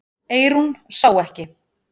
Eyrún sá ekki.